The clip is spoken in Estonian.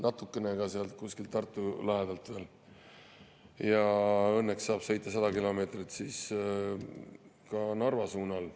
Ja õnneks saab sõita 100 kilomeetrit ka Narva suunas.